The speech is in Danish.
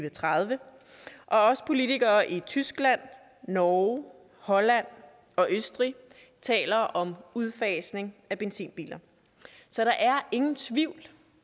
og tredive og også politikere i tyskland norge holland og østrig taler om udfasning af benzinbiler så der er ingen tvivl